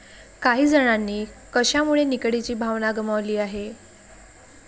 काही जणांनी कशामुळे निकडीची भावना गमावली आहे?